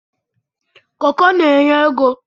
koko na-anye ego.